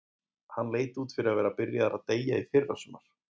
Hann leit út fyrir að vera byrjaður að deyja í fyrrasumar.